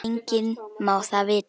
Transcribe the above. Enginn má það vita.